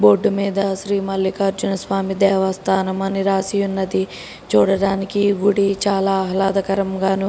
board మీద శ్రీ మల్లికార్జున స్వామి దేవస్థానం అని రాసి ఉన్నది చూడడానికి గుడి చాలా ఆహ్లాదకరంగాను --